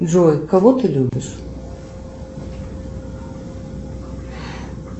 джой кого ты любишь